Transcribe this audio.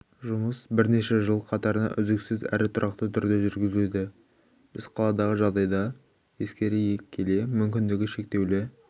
жұмыс бірнеше жыл қатарынан үздіксіз әрі тұрақты түрде жүргізілуде біз қаладағы жағдайды ескере келе мүмкіндігі шектеулі